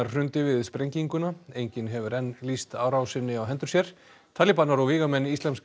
hrundi við sprenginguna enginn hefur enn lýst árásinni á hendur sér talibanar og vígamenn Íslamska